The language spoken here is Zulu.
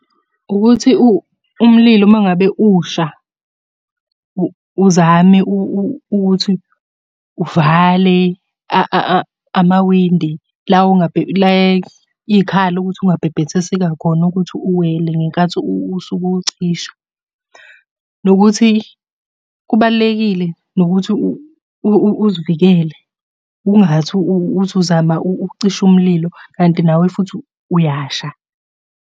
Ukuthi umlilo uma ngabe usha, uzame ukuthi uvale amawindi la iy'khala ukuthi ungabhebhethiseka khona ukuthi uwele ngenkathi usuke uwucisha. Nokuthi kubalulekile nokuthi uzivikele. Ungathi uthi uzama ukucisha umlilo kanti nawe futhi uyasha.